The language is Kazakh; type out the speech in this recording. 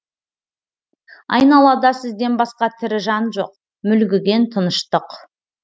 айналада сізден басқа тірі жан жоқ мүлгіген тыныштық